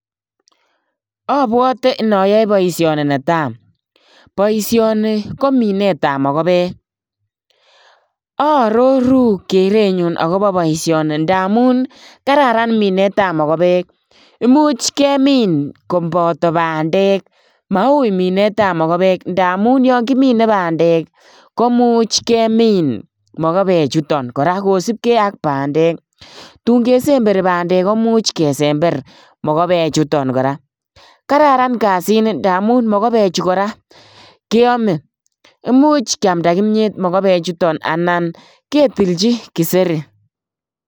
Aabwate inayoe boisioni netai, boisioni ko minetab mokobek, aaroru akobo boisiani ndamuun kararan minetab mokobek, imuch kemin kobato bandek, imuche kemine ngamun Yoon kimine bandek ih komuche kemin mokobek tun kesemberi bandek ih komuch ke kararan kasit ni ngamun mokobechu keame . Imuche keamda komiet ketilchi kiseri